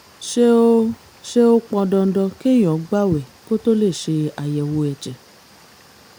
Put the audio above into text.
ṣé ó ṣé ó pọn dandan kéèyàn gbààwẹ̀ kó tó lè ṣe àyẹ̀wò ẹ̀jẹ̀?